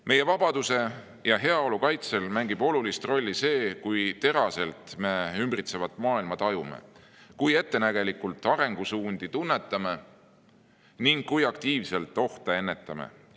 Meie vabaduse ja heaolu kaitsel mängib olulist rolli see, kui teraselt me ümbritsevat maailma tajume, kui ettenägelikult arengusuundi tunnetame ning kui aktiivselt ohte ennetame.